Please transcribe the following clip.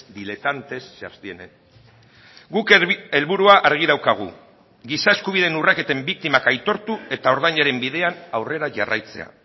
diletantes se abstienen guk helburua argi daukagu giza eskubideen urraketen biktimak aitortu eta ordainaren bidean aurrera jarraitzea